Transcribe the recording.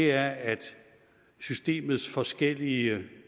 er at systemets forskellige